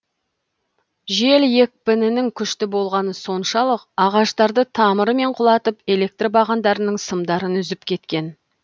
жел екпінінің күшті болғаны соншалық ағаштарды тамырымен құлатып электр бағандарының сымдарын үзіп кеткен